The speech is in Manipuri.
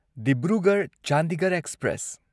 ꯗꯤꯕ꯭ꯔꯨꯒꯔꯍ ꯆꯥꯟꯗꯤꯒꯔꯍ ꯑꯦꯛꯁꯄ꯭ꯔꯦꯁ